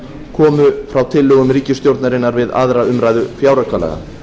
komu frá tillögum ríkisstjórnarinnar við aðra umræðu fjáraukalaga